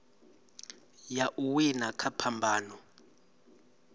ya u wina kha phambano